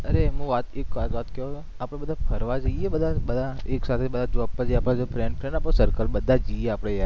અરે હુ વાત એક વાત કહુ આપણે બધા ફરવા જઈએ બધા બધા એક સાથે જોબ પર થી friend circle બધાં જ જઈએ આપણે યાર?